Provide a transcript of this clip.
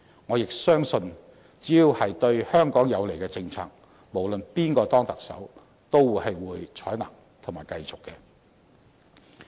我亦相信，只要是對香港有利的政策，無論是誰當選特首都會採納及繼續推行。